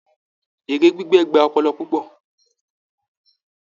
Èrè gbígbẹ́ gba ọpọlọ púpọ̀